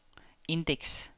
indeks